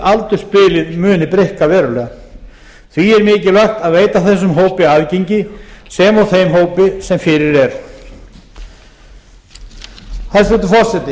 aldursbilið muni breikka verulega því er mikilvægt að veita þessum hópi aðgengi sem og þeim hópi sem fyrir er hæstvirtur forseti